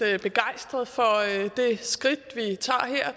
begejstret for det skridt